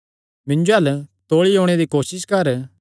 मिन्जो अल्ल तौल़ी ओणे दी कोसस कर